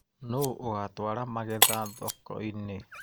Nũ ũgatwaara magetha thokoinĩ.